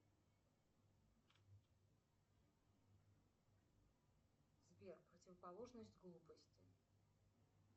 сбер противоположность глупости